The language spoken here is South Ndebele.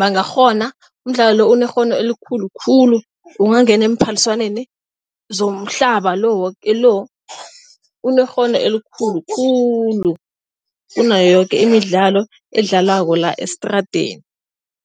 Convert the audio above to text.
bangakghona. Umdlalo lo unekghono elikhulu khulu. Ungangena emaphaliswaneni zomhlaba lo woke lo unekghono elikhulu khulu kunayo yoke imidlalo edlalwako la estradeni.